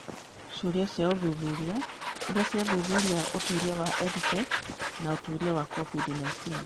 Ciũria cia ũthuthuria iria ciathuthuria ũtuĩria wa EdTech na ũtuĩria wa COVID-19